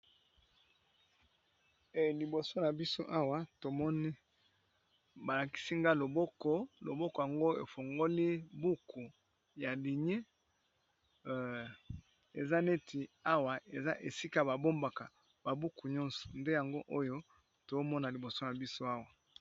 Liboso na biso awa tomoni balakisi nga loboko, loboko yango efungoli buku ya linier eza neti awa eza esika babombaka ba buku nyonso nde yango oyo tomona liboso na biso awa.